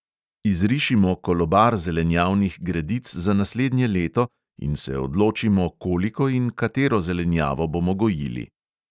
Izrišimo kolobar zelenjavnih gredic za naslednje leto in se odločimo, koliko in katero zelenjavo bomo gojili.